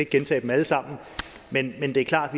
gentage dem alle sammen men men det er klart